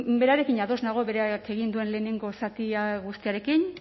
bueno berarekin ados nago berak egin duen lehenengo zatia guztiarekin